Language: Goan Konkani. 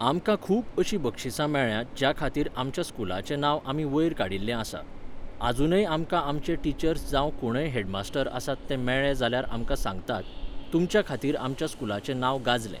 आमकां खूब अशीं बक्षिसां मेळ्ळ्यांत ज्या खातीर आमच्या स्कुलाचें नांव आमीं वयर काडिल्लें आसा . आजूनय आमकां आमचे टिचर्स जावं कोणय हेडमास्टर आसात ते मेळ्ळे जाल्यार आमकां सांगतात, तुमच्या खातीर आमच्या स्कुलाचें नांव गाजलें